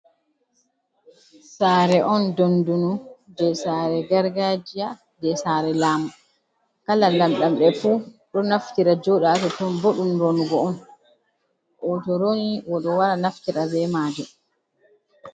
Sare on dondunu je sare gargajiya je sare laamu, kala lamlambe fu ɗo naftira joɗa ha tonton bo ɗum ronugo on, o'to roni oɗo wara naftira bemajum.